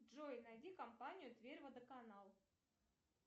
джой найди компанию тверь водоканал